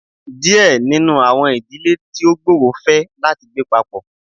Díẹ̀ nínú àwọn ìdílé tí ó gbòòrò fẹ láti gbé papọ.